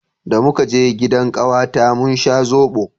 da muka je gidan kawata mun sha zobo